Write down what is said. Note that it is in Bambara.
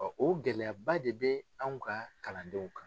o gɛlɛyaba de bɛ anw ka kalandenw kan.